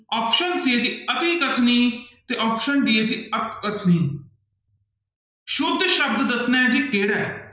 Option c ਹੈ ਅਤਿਕਥਨੀ ਤੇ option d ਹੈ ਜੀ ਆਕਥਨੀ ਸੁੱਧ ਸ਼ਬਦ ਦੱਸਣਾ ਹੈ ਜੀ ਕਿਹੜਾ ਹੈ।